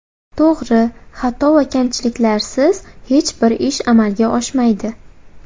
To‘g‘ri, xato va kamchiliklarsiz hech bir ish amalga oshmaydi.